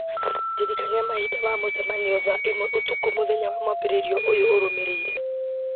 ndirikania mahinda ma mũcemanio thaa ĩmwe ũtukũ mũthenya wa mwambĩrĩrio ũyũ ũrũmĩrĩire